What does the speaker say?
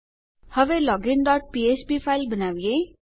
હવે login dot ફ્ફ્પ file બનાવીએ